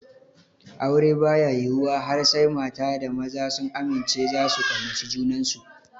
Aure baya yiwuwa har sai mata da maza sun amince zasu kaunaci junansu